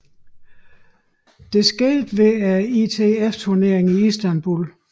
Det skete ved ITF turneringen i Istanbul